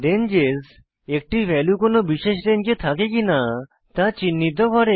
ranges একটি value কোনো বিশেষ রেঞ্জে থাকে কিনা তা চিন্হিত করে